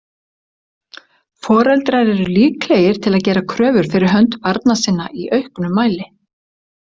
Foreldrar eru líklegir til að gera kröfur fyrir hönd barna sinna í auknum mæli.